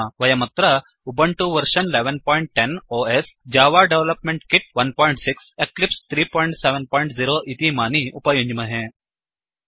वयमत्र Ubuntu version 1110 OS Java development kit 16 Eclipse 370 इतीमानि उपयुञ्ज्महे